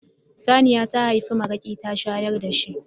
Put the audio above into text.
Saniya ta haifi maraƙi ta shayar da shi.